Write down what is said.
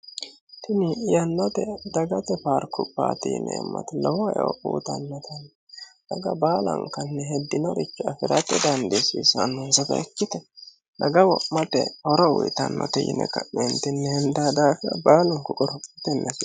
tini yannote dagate paarkubbaati dagate lowo eo uuyitannote daga baalankanni heddinorichu afi'rate dandiissiisanno hunsato ikkite daga wo'mate horo uyitannote yine ka'neentinni hendeeta ikkitino daafira baalunku qorophutenneke